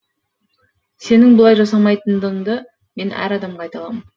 сенің бұлай жасамайтыныңды мен әр адамға айта аламын